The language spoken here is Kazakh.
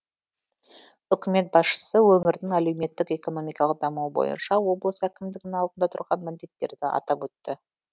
үкімет басшысы өңірдің әлеуметтік экономикалық дамуы бойынша облыс әкімдігінің алдында тұрған міндеттерді атап өтті